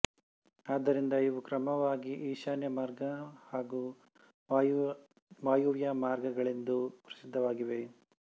ಆದ್ದರಿಂದ ಇವು ಕ್ರಮವಾಗಿ ಈಶಾನ್ಯಮಾರ್ಗ ಹಾಗೂ ವಾಯವ್ಯ ಮಾರ್ಗಗಳೆಂದು ಪ್ರಸಿದ್ಧವಾಗಿವೆ